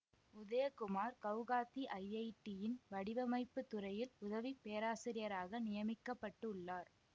உதயகுமார் கவுகாத்தி ஐஐடியின் வடிவமைப்பு துறையில் உதவி பேராசிரியராக நியமிக்க பட்டு உள்ளார்